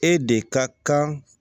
E de ka kan